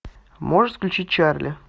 можешь включить чарли